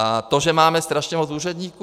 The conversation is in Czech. A to, že máme strašně moc úředníků?